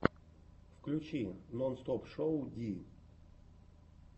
включи нонстопшоу ди